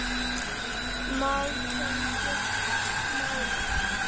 Mál, sem skiptu máli.